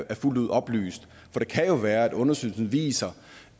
er fuldt ud oplyst for det kan jo være at undersøgelsen viser